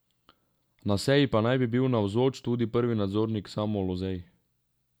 Na seji pa naj bi bil navzoč tudi prvi nadzornik Samo Lozej.